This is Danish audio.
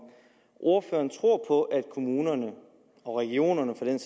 ordføreren tror på at kommunerne og regionerne for den